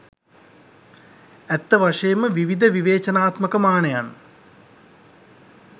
ඇත්ත වශයෙන්ම විවිධ විවේචනාත්මක මානයන්